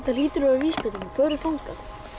hlýtur að vera vísbending förum þangað